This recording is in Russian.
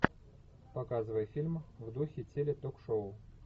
показывай фильм в духе теле ток шоу